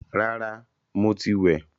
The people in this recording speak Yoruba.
Rárá, mo ti wẹ̀